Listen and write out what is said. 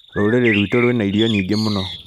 Rũrĩrĩ rwitũ rwĩna irio nyingĩ mũno